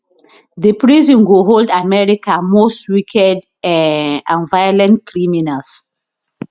di prison go hold america most wicked um and violent criminals